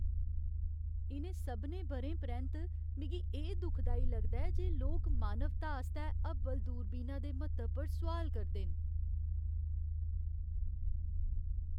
इ'नें सभनें ब'रें परैंत्त, मिगी एह् दुखदाई लगदा ऐ जे लोक मानवता आस्तै हब्बल दूरबीना दे म्हत्तव पर सोआल करदे न।